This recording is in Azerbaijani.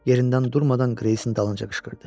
Yerindən durmadan Qreysin dalınca qışqırdı.